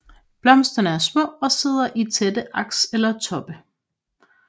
Blomsterne er små og sidder i tætte aks eller toppe